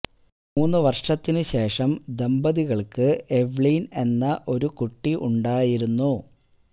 മൂന്നു വർഷത്തിനു ശേഷം ദമ്പതികൾക്ക് എവ്ലീൻ എന്ന ഒരു കുട്ടി ഉണ്ടായിരുന്നു